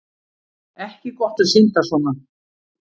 Ekki gott að synda svona